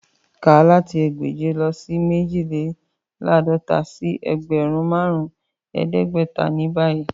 Ká láti ẹgbẹ́je o le mẹjìlélàádọ̀tà sí ẹgbẹ́run màrùn ẹdẹgbẹ̀tà ni báyì!